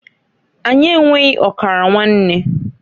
Anyi enweghi ọkara nwanne.